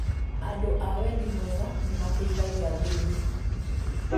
Andũ a wendi mwega nĩmateithagia athĩni